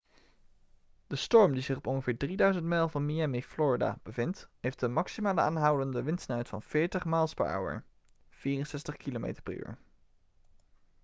de storm die zich op ongeveer 3.000 mijl van miami florida bevindt heeft een maximale aanhoudende windsnelheid van 40 mph 64 km/u